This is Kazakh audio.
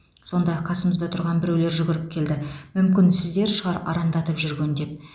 сонда қасымызда тұрған біреулер жүгіріп келді мүмкін сіздер шығар арандатып жүрген деп